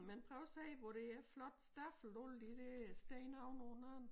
Men prøv at se hvor det er flot stablet alle de dér sten oven på hinanden